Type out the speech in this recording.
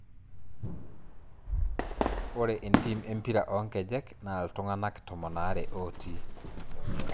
Ore entim empira onkejek naa iltung'anak tomon aare ootii